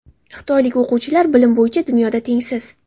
Xitoylik o‘quvchilar – bilim bo‘yicha dunyoda tengsiz.